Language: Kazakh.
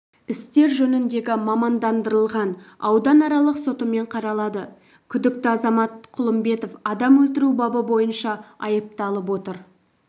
істер жөніндегі мамандандырылған ауданаралық сотымен қаралады күдікті азамат құлымбетов адам өлтіру бабы бойынша айыпталып отыр